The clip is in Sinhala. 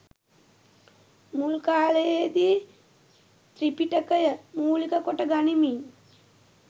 මුල් කාලයේදී ත්‍රිපිටකය මූලික කොට ගනිමින්